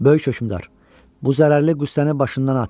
Böyük hökümdar, bu zərərli qüssəni başından at.